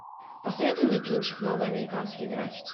посоветуй мне кинчик новые американские граффити